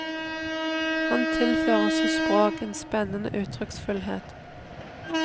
Han tilfører sitt språk en spennende uttrykksfullhet.